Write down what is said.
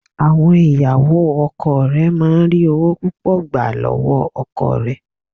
Àwọn ìyàwó ọkọ rẹ̀ máà ń ri ọwọ́ púpọ̀ gbà lọ́wọ́ ọkọ rẹ̀.